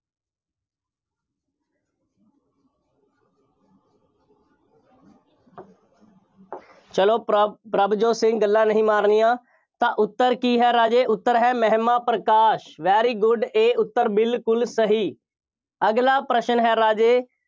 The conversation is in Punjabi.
ਚੱਲੋ ਪ੍ਰਭ ਪ੍ਰਭਜੋਤ ਸਿੰਘ ਗੱਲਾਂ ਨਹੀਂ ਮਾਰਨੀਆਂ ਤਾਂ ਉੱਤਰ ਕੀ ਹੈ ਰਾਜੇ, ਉੱਤਰ ਹੈ ਮਹਿਮਾ ਪ੍ਰਕਾਸ਼, very good ਇਹ ਉੱਤਰ ਬਿਲਕੁੱਲ ਸਹੀ। ਅਗਲਾ ਪ੍ਰਸ਼ਨ ਹੈ ਰਾਜੇ,